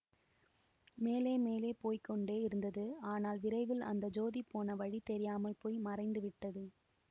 மேலே மேலே போய்க்கொண்டே இருந்தது ஆனால் விரைவில் அந்த ஜோதி போன வழி தெரியாமல் போய் மறைந்துவிட்டது